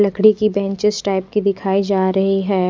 लकड़ी की benches type दिखाई जा रही है।